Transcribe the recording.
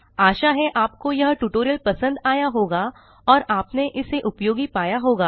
आशा है आपको यह ट्यूटोरियल पसंद आया होगा और आपने इसे उपयोगी पाया होगा